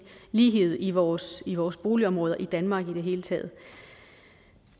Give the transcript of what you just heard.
lighed i vores i vores boligområder i danmark i det hele taget